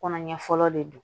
Kɔnɔ ɲɛ fɔlɔ de don